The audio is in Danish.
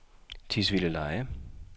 Tisvildeleje